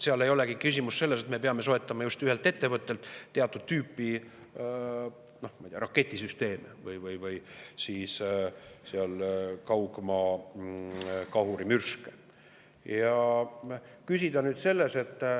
Seal ei olegi küsimus selles, et me peame soetama just ühelt ettevõttelt teatud tüüpi raketisüsteeme või kaugmaamürske.